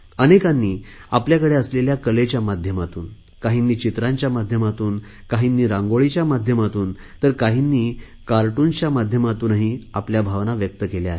अनेकांनी आपल्याकडे असलेल्या कलेच्या माध्यमातून काहींनी चित्रांच्या माध्यमातून काहींनी रांगोळीच्या माध्यमातून काहींनी कार्टूनच्या माध्यमातून आपल्या भावना व्यक्त केल्या